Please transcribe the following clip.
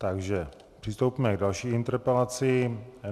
Takže přistoupíme k další interpelaci.